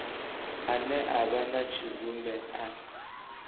ane a vha tshidzumbe a